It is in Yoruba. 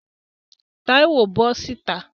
Táíwò, bọ́ sìta!